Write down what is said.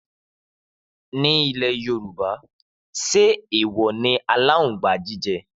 Ni ìlé yorùbá ṣẹ ẹwò ni àlàńgbà jìjẹ̀?